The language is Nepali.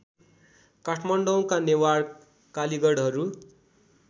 काठमाडौँका नेवार कालीगढहरू